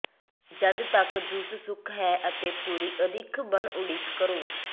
ਜਦ ਤੱਕ ਜੂਸ ਸੁੱਕ ਹੈ ਅਤੇ ਪੂਰੀ ਅਦਿੱਖ ਬਣ ਉਡੀਕ ਕਰੋ